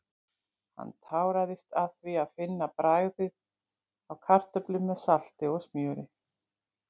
Hann táraðist af því að finna bragðið af kartöflum með salti og smjöri.